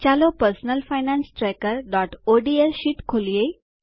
ચાલો personal finance trackerઓડ્સ sheet ખોલીએ